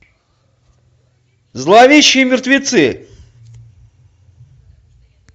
зловещие мертвецы